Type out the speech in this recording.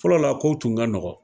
Fɔlɔ la kow tun ka nɔgɔn